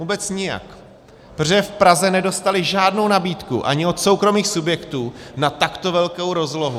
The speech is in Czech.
Vůbec nijak, protože v Praze nedostali žádnou nabídku ani od soukromých subjektů na takto velkou rozlohu.